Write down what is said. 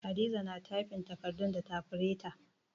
Hadiza na tyfin takardun da tafireta